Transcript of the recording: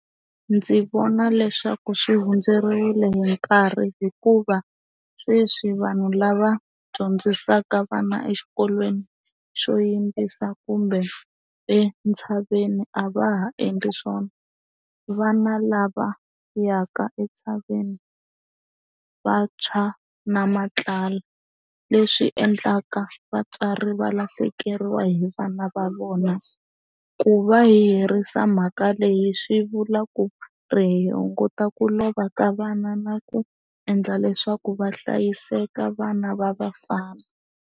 Ndzi vona leswaku swi hundzeriwile hi nkarhi hikuva sweswi vanhu lava dyondzisaka vana exikolweni xo yimbisa kumbe entshaveni a va ha endli swona vana lava yaka entshaveni vantshwa na matlala leswi endlaka vatswari va lahlekeriwa hi vana va vona ku va herisa mhaka leyi swi vula ku ri hi hunguta ku lova ka vana na ku endla leswaku va hlayiseka vana va vafana.